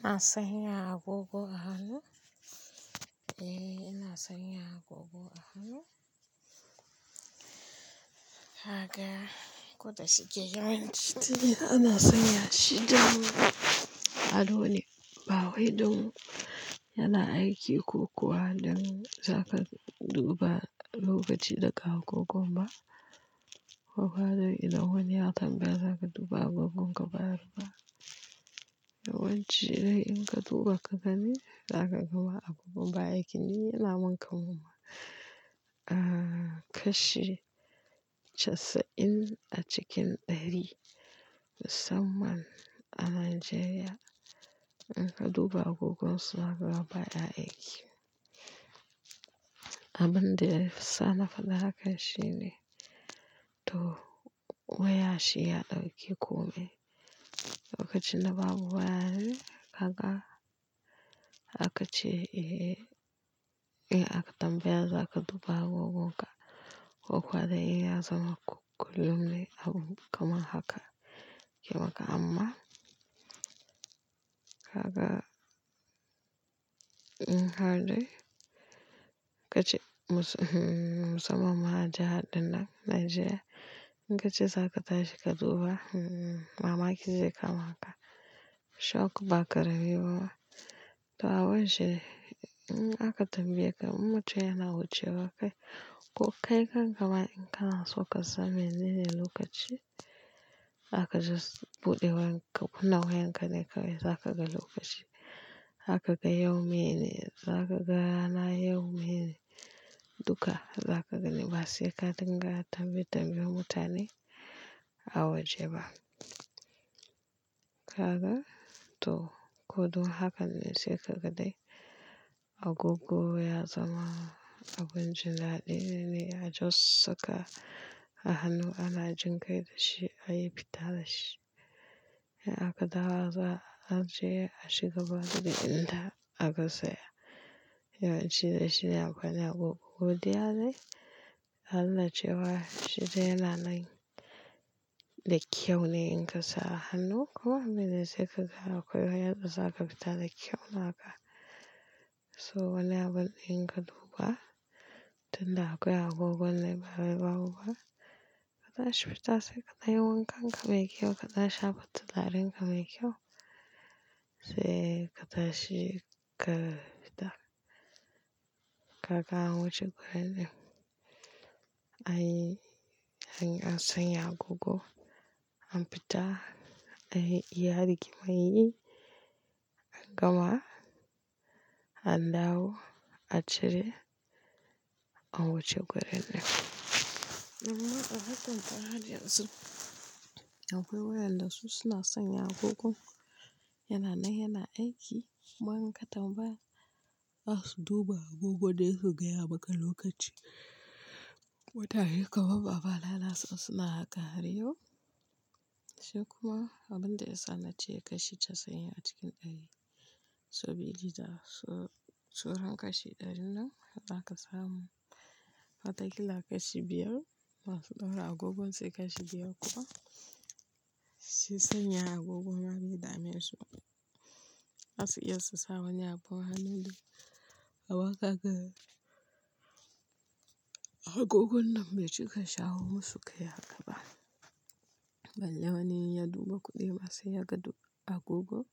Ina sanya agogo a hannu? Eh, ina sanya agogo a hannu. Haka, ko da shige yawanci ana sanya shi don ado ne, ba wai don yana aiki ko kuwa don za ka duba lokaci da kawo gogon ba, ko kuwa don idan wani ya tanga za ka duba a gogon ka bayar ba. Yawanci dai in ka duba ka gani, za ka ga ba agogon ba aiki ne, yana mankar muma. Ah, kashi casa'in a cikin ɗari, musamman a Najeriya, in ka duba agogon su zakaga ba ya aiki. Abin da yasa ma faɗi haka shine to waya shi ya ɗauki komai, lokacin da babu waya kaga akace eh ihe, in aka tambaya za ka duba agogon ka, ko kuwa dai iya zaman kullum ne abun kama haka yake maka amma, haka in har dai, ka ci musamman ma jahar dinnan Najeriya. In kace za ka tashi ka duba, mamaki zai kama ka, shock ba karamai bama. To a wurince, in aka tambaye ka, in mutum yana wucewa kai, ko kai kankama in ka na so kasan mi ne ne lokaci, zaka just buɗe wayan ka, kunna wayan ka ne kawai za ka ga lokaci. Zaka ga yau mene, za ka ga na yau mene, duka za ka gani ba sai ka dinga tambaye tambiyen mutane, a waje ba. Kaga to, ko dun haka ne sai ka ga dai agogo ya zama abun jan alli ne, ya just saka a hannu ana jin kai da shi, ayi fita da shi. In aka dawo azo a ajiye a cigaba daga inda aka tsaya. Yawanci dai shine akwai ne agogo godiya ne, an na ce wa shi dai yana nan da kyau ne in ka sa a hannu kuwa mene sai ka ga akwai waya da za ka fita da kyau naka. So wane abu in ka duba, dole akwai agogon dai babu babu ba, ka tashi fita sai ka danyi wankanka mai kyau, ka shafa turarenka mai kyau, sai ka tashi ka fita. Haka an wuce gurinnan. Anyi, anyi an sanya agogo an fita, anyi iya rigimar yi, an gama an dawo a cire, an wuce gurin amma a hatun fara jiya su, akwai wayanda su suna sanya agogon, yana nan yana aiki, kuma in ka tambaya za su duba agogo ne su gaya maka lokaci. Mutane kamar babba Alala su suna haka har yau. Sai kuma abin da ya sanace kashi casa'in a cikin ɗari, so biyu da suran kashi ɗarin nan, za ka samu watakila kashi biyar masu ɗaura agogon sai kashi biyar kuwa, sai sanya agogon babu damisar. Za su iya su sa wani abu a hannu dai, amma kaga agogon nan bai cika shawo masu kai haka ba. Balle wane ya duba kuɗi ba sai ya ga duka agogon,